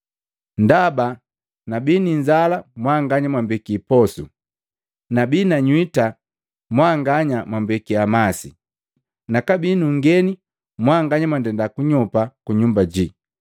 Ndaba nabii ninzala mwanganya mwambekia posu, nabii nanywita mwanganya mwambekia masi, nakabii nungeni mwanganya mwandenda kunyopa kunyumba jii,